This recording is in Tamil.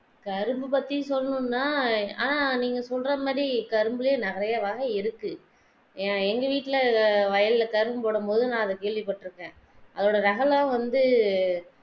கரும்பு பத்தி சொல்லனும்னா ஆஹ் நீங்க சொல்ற மாதி கரும்புலே நெறைய வகை இருக்கு எங்க வீட்ல வயல்ல கரும்பு போடும் பொது நான் அதை கேள்விப்பட்டிருக்கேன் அதோட ரக தான் வந்து